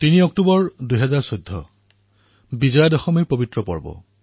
৩ October ২০১৪ তাৰিখ আছিল বিজয়া দশমীৰ উৎসৱ